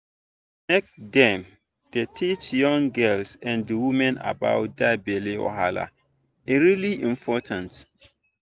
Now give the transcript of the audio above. make dem dey teach young girls and women about that belly wahala e really important